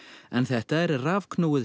en þetta er er rafknúið